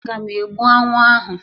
Aga m egbu aṅụ ahụ